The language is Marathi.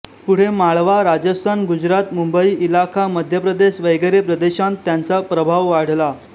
पुढे माळवा राजस्थान गुजरात मुंबई इलाखा मध्य प्रदेश वगैरे प्रदेशांत त्यांचा प्रभाव वाढला